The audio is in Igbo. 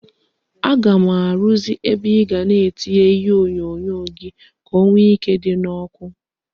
Aga m arụzị ebe ịga na etinye ihe onyonyo gi ka o nwe ike idi na oku